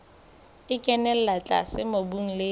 e kenella tlase mobung le